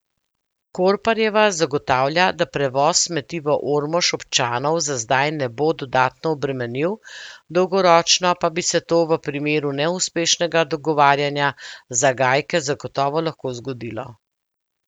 Korparjeva zagotavlja, da prevoz smeti v Ormož občanov za zdaj ne bo dodatno obremenil, dolgoročno pa bi se to v primeru neuspešnega dogovarjanja za Gajke zagotovo lahko zgodilo.